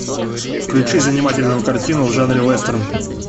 включи занимательную картину в жанре вестерн